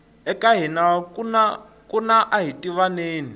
eka hina kuna ahitivaneni